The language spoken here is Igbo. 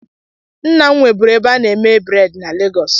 Nna m nweburu ebe a na-eme bredị na Legọs.